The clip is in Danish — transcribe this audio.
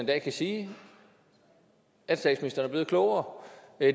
dag kan sige at statsministeren er blevet klogere